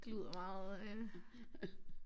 Det lyder meget øh